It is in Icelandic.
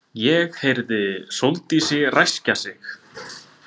Ég heyrði Sóldísi ræskja sig.